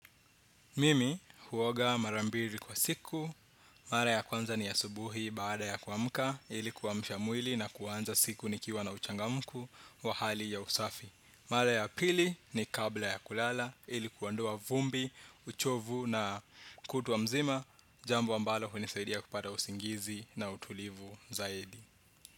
Mimi huoga mara mbili kwa siku, mara ya kwanza ni asubuhi baada ya kuamka, ili kuamsha mwili na kuanza siku nikiwa na uchangamku wa hali ya usafi. Mara ya pili ni kabla ya kulala, ili kuondoa vumbi, uchovu na kutwa mzima, jambo ambalo hunisaidia kupata usingizi na utulivu zaidi.